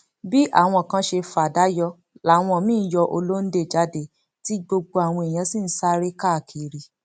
bí àwọn kan ṣe fa àdá yọ làwọn míín yọ ọlọńde jáde tí gbogbo àwọn èèyàn sì ń sáré káàkiri